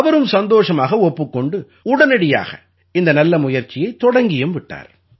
அவரும் சந்தோஷமாக ஒப்புக் கொண்டு உடனடியாக இந்த நல்ல முயற்சியைத் தொடங்கியும் விட்டார்